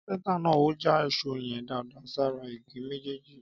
Kápéntà nà ò jàn ìsó yẹn dàdà sàrá ìgí mẹjẹji.